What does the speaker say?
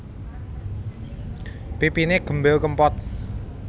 Pipiné gembil kempot